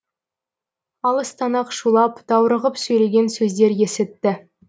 алыстан ақ шулап даурығып сөйлеген сөздер есітті